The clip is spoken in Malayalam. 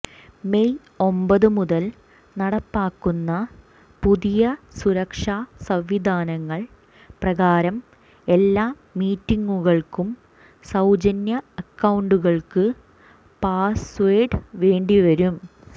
മെയ് ഒമ്പതു മുതൽ നടപ്പാക്കുന്ന പുതിയ സുരക്ഷാ സംവിധാനങ്ങൾ പ്രകാരം എല്ലാ മീറ്റിംഗുകൾക്കും സൌജന്യ അക്കൌണ്ടുകൾക്ക് പാസ്വേഡ് വേണ്ടിവരും